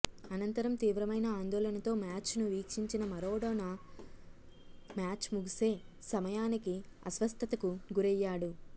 అనంతరం తీవ్రమైన ఆందోళనతో మ్యాచ్ను వీక్షించిన మారడోనా మ్యాచ్ ముగిసే సమయానికి అస్వస్థతకు గురయ్యాడు